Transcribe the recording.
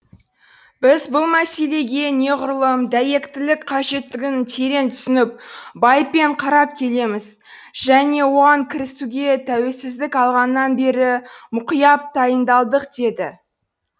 біз бұл мәселеге неғұрлым дәйектілік қажеттігін терең түсініп байыппен қарап келеміз және оған кірісуге тәуелсіздік алғаннан бері мұқият дайындалдық деді